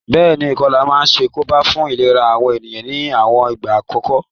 Béèni, ìkolà ma n sàkóbá fun ìlera àwon ènìyàn ni àwon ìgbà kòkan